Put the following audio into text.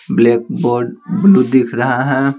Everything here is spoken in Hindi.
ब्लैक बोर्ड ब्लू दिख रहा है।